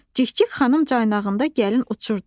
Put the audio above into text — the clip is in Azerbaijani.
Cikcik xanım caynağında gəlin uçurdu.